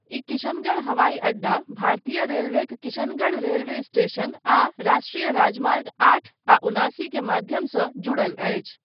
ई किशनगढ़ हवाई अड्डा, भारतीय रेलवेक किशनगढ़ रेलवे स्टेशन आ राष्ट्रीय राजमार्ग आठ आ उनासी के माध्यमसँ जुड़ल अछि।